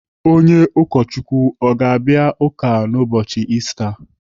Onye ụkọchukwu ọ ga-abịa ụka n'ụbọchi Ista?